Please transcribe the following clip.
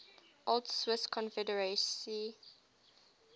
old swiss confederacy